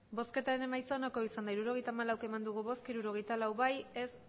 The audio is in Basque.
emandako botoak hirurogeita hamalau bai hirurogeita lau ez